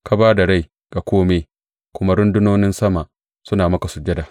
Ka ba da rai ga kome, kuma rundunonin sama suna maka sujada.